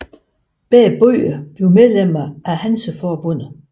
Begge byer blev medlemmer af Hanseforbundet